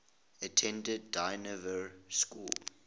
attended dynevor school